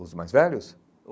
Os mais velhos?